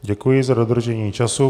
Děkuji za dodržení času.